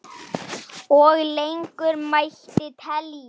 Og lengur mætti telja.